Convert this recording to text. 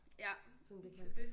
Ja men det dét